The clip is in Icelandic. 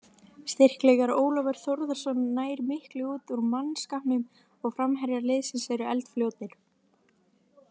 Styrkleikar: Ólafur Þórðarson nær miklu út úr mannskapnum og framherjar liðsins eru eldfljótir.